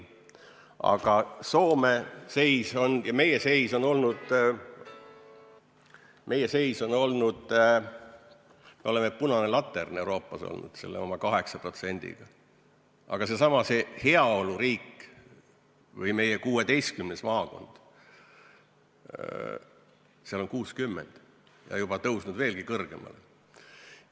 Aga meie seis on olnud, et me oleme olnud punane latern Euroopas oma 8%-ga, aga seesama heaoluriik või meie 16. maakond, seal on see 60% ja on tõusnud juba veelgi kõrgemale.